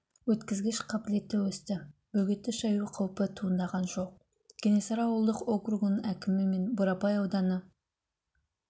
өткізгіш қабілеті өсті бөгетті шаю қауіпі туындаған жоқ кенесары ауылдық округінің әкімі мен бурабай ауданы